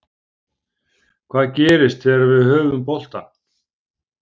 Hvað gerist þegar við höfum boltann